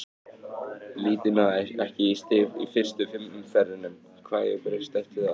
Liðið náði ekki í stig í fyrstu fimm umferðunum, hvað hefur breyst eftir það?